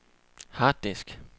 harddisk